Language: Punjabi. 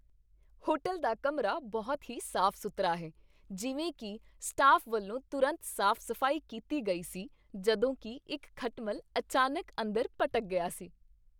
ਹੋਟਲ ਦਾ ਕਮਰਾ ਬਹੁਤ ਹੀ ਸਾਫ਼ ਸੁਥਰਾ ਹੈ, ਜਿਵੇਂ ਕਿ ਸਟਾਫ਼ ਵੱਲੋਂ ਤੁਰੰਤ ਸਾਫ਼ ਸਫ਼ਾਈ ਕੀਤੀ ਗਈ ਸੀ ਜਦੋਂ ਕਿ ਇੱਕ ਖਟਮਲ ਅਚਾਨਕ ਅੰਦਰ ਭਟਕ ਗਿਆ ਸੀ